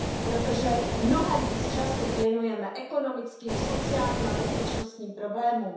Protože mnohem víc času věnujeme ekonomickým, sociálním a bezpečnostním problémům.